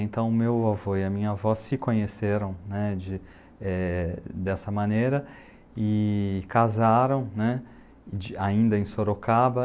Então, meu avô e a minha avó se conheceram né, de eh, dessa maneira e casaram né, de ainda em Sorocaba.